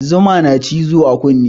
Zuma na cizo a kune